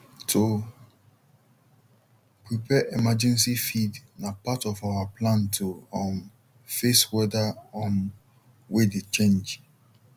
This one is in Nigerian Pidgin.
to prepare emergency feed na part of our plan to um face weather um way dey change